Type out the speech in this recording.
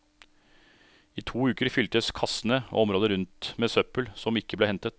I to uker fyltes kassene og området rundt med søppel som ikke ble hentet.